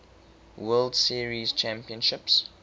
world series championships